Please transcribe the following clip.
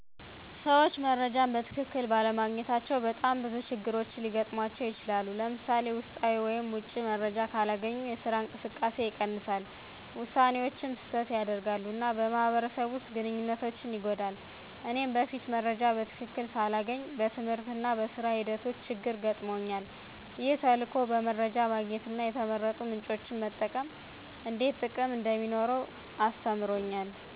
ሰዎች መረጃን በትክክል ባለማግኘታቸው በጣም ብዙ ችግሮች ሊገጥሙባቸው ይችላሉ። ለምሳሌ፣ ውስጣዊ ወይም ውጪ መረጃ ካላገኙ የስራ እንቅስቃሴ ይቀንሳል፣ ውሳኔዎችም ስህተት ያደርጋሉ፣ እና በማህበረሰብ ውስጥ ግንኙነት ይጎዳል። እኔም በፊት መረጃ በትክክል ሳላገኝ በትምህርትና በሥራ ሂደቶቼ ችግር ገጥመውኛል። ይህ ተልዕኮ በመረጃ ማግኘትና የተመረጡ ምንጮችን መጠቀም እንዴት ጥቅም እንደሚኖረው ተማርኩ።